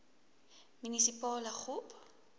munisipale gop